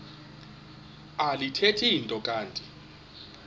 alithethi nto kanti